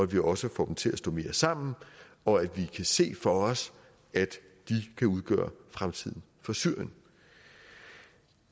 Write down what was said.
vi også får dem til at stå mere sammen og at vi kan se for os at de kan udgøre fremtiden for syrien